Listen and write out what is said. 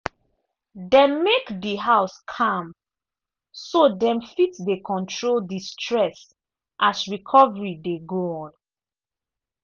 dem make di house calm so dem fit dey control di stress as recovery dey go on.